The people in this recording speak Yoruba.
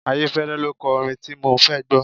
Ayéfẹ́lẹ́ lo kọ orin tí mo fẹ́ gbọ́.